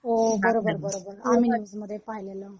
हो बरोबर बरोबर आम्ही न्यूज मध्ये पाहिलेलं